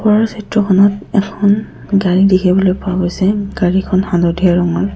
ওপৰৰ চিত্ৰখনত এখন গাড়ী দেখিবলৈ পোৱা গৈছে গাড়ীখন হালধীয়া ৰঙৰ।